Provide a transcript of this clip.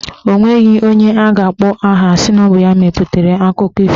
Onweghi onye a ga-akpọ aha sị na ọ bụ ya mepụtara akụkọ ifo.